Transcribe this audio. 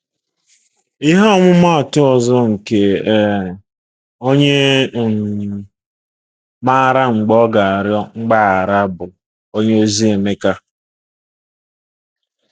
Ihe ọmụmaatụ ọzọ nke um onye um maara mgbe ọ ga-arịọ mgbaghara bụ onyeozi Emeka.